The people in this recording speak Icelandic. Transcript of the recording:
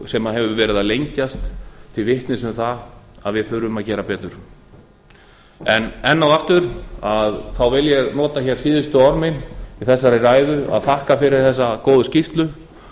sem hefur verið að lengjast til vitnis um það að við þurfum að gera betur en enn og aftur þá vil ég nota hér síðustu orð mín í þessari ræðu að þakka fyrir þessa góðu skýrslu